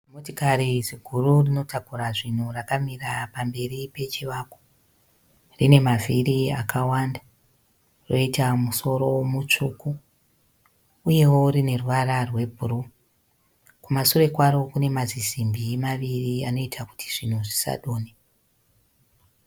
Zimotikari ziguru rinotakura zvinhu rakamira pamberi pechivakwa. Rine mavhiri akawanda, roita musoro mutvsuku uyewo rine ruvara rwe bhuruu. Kumasure kwaro kune mazisimbi maviri anoita kuti zvinhu zvisadonhe